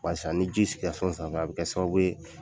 Barisa ni ji sigira so sanfɛ, a bi kɛ sababu ye